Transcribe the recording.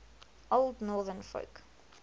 old northern folk